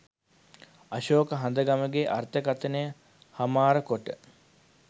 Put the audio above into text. අශෝක හඳගමගේ අර්ථකථනය හමාර කොට